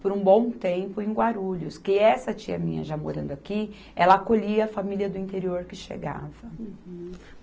por um bom tempo em Guarulhos, que essa tia minha, já morando aqui, ela acolhia a família do interior que chegava. Uhum.